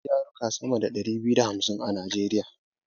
Akwai yaruka sama da dari biyu da hamsin a najeriya